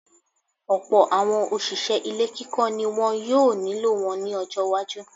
Ọ̀pọ̀̀ àwọn òṣìṣẹ́ ilé kíkọ́ ni wọn yóò nílò wọn ní ọjọ́ iwájú.